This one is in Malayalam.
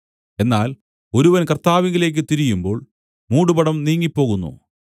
എന്നാൽ ഒരുവൻ കർത്താവിലേക്ക് തിരിയുമ്പോൾ മൂടുപടം നീങ്ങിപ്പോകുന്നു